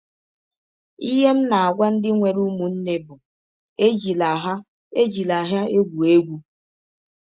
Ihe m na - agwa ndị nwere ụmụnne bụ, ‘ Ejila ha Ejila ha egwụ egwụ! ’”